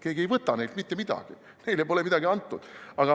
Keegi ei võta neilt mitte midagi, neile pole midagi antudki.